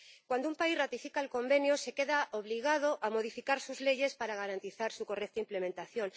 Cuando un país ratifica el Convenio, queda obligado a modificar sus leyes para garantizar su correcta implementación.